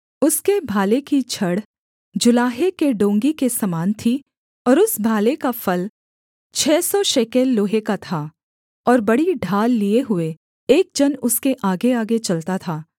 उसके भाले की छड़ जुलाहे के डोंगी के समान थी और उस भाले का फल छः सौ शेकेल लोहे का था और बड़ी ढाल लिए हुए एक जन उसके आगेआगे चलता था